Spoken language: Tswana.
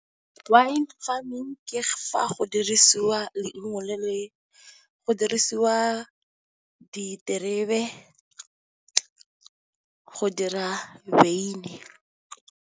Wine farming ke fa go dirisiwa , go dirisiwa diterebe go dira wine.